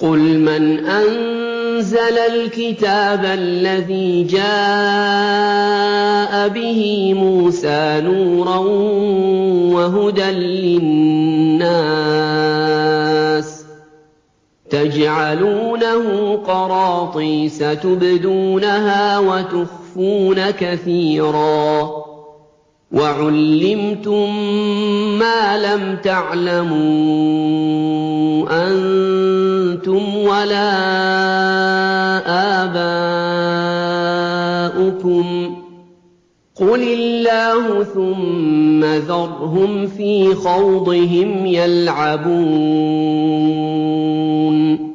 قُلْ مَنْ أَنزَلَ الْكِتَابَ الَّذِي جَاءَ بِهِ مُوسَىٰ نُورًا وَهُدًى لِّلنَّاسِ ۖ تَجْعَلُونَهُ قَرَاطِيسَ تُبْدُونَهَا وَتُخْفُونَ كَثِيرًا ۖ وَعُلِّمْتُم مَّا لَمْ تَعْلَمُوا أَنتُمْ وَلَا آبَاؤُكُمْ ۖ قُلِ اللَّهُ ۖ ثُمَّ ذَرْهُمْ فِي خَوْضِهِمْ يَلْعَبُونَ